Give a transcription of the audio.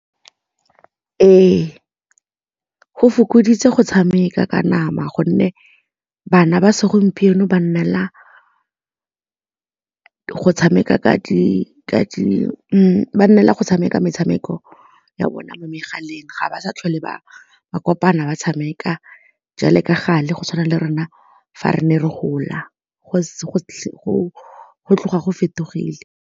Ee, go fokoditse go tshameka ka nama gonne bana ba segompieno ba nnela go tshameka metshameko ya bona mo megaleng ga ba sa tlhole bangwe ba kopana ba tshameka jalo ka gale go tshwana le rona fa re ne re gola go tloga go fetogile.